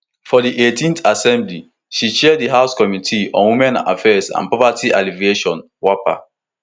for di eightth assembly she chair di house committee on women affairs and poverty alleviation wapa